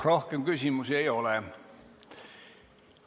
Rohkem küsimusi ei ole.